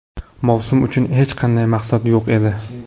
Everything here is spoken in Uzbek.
Mavsum uchun hech qanday maqsad yo‘q edi.